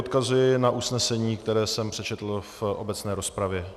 Odkazuji na usnesení, které jsem přečetl v obecné rozpravě.